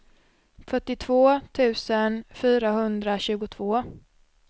fyrtiotvå tusen fyrahundratjugotvå